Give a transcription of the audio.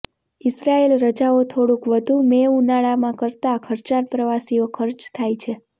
Israel રજાઓ થોડુંક વધુ મે ઉનાળામાં કરતાં ખર્ચાળ પ્રવાસીઓ ખર્ચ થાય છે